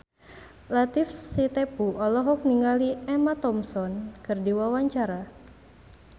Latief Sitepu olohok ningali Emma Thompson keur diwawancara